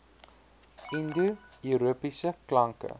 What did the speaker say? indo europese klanke